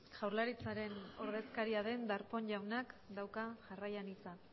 jaurlaritzaren ordezkaria den darpón jaunak dauka jarraian hitza